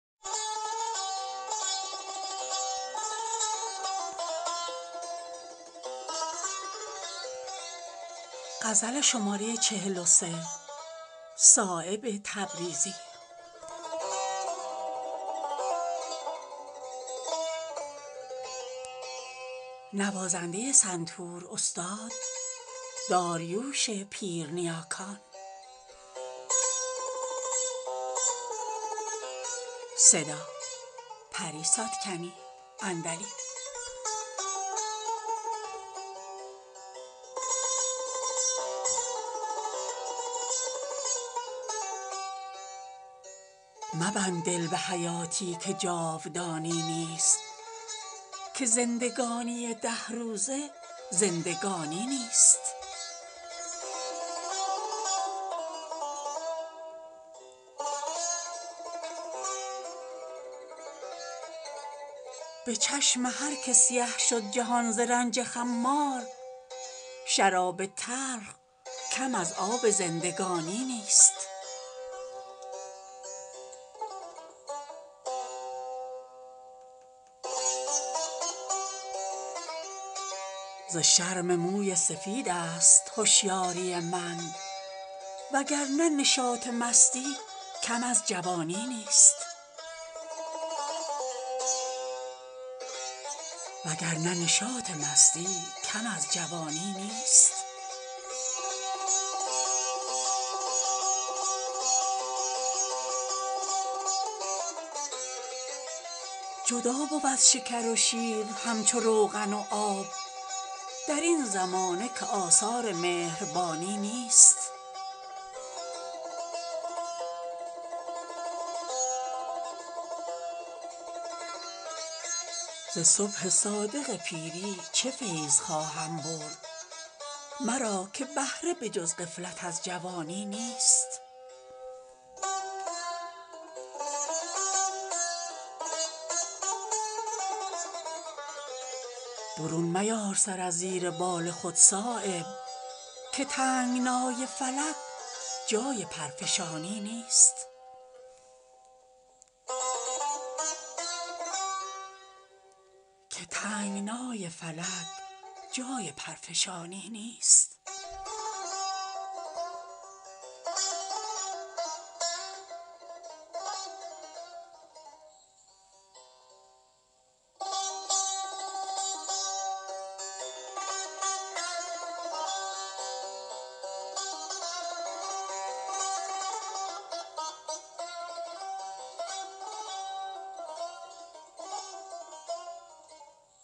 مبند دل به حیاتی که جاودانی نیست که زندگانی ده روزه زندگانی نیست همان ز نامه و پیغام شاد می گردند اگر چه دوستی اهل دل زبانی نیست به چشم هر که سیه شد جهان ز رنج خمار شراب تلخ کم از آب زندگانی نیست ز شرم موی سفیدست هوشیاری من وگرنه نشأه مستی کم از جوانی نیست جدا بود شکر و شیر همچو روغن و آب درین زمانه که آثار مهربانی نیست ز صبح صادق پیری چه فیض خواهم برد مرا که بهره به جز غفلت از جوانی نیست به پای تن دل عاشق نمی کند جولان نسیم مصر مقید به کاروانی نیست برون میار سر از زیر بال خود صایب که تنگنای فلک جای پرفشانی نیست